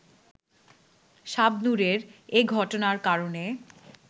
শাবনূরের এ ঘটনার কারণে